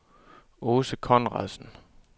Aase Conradsen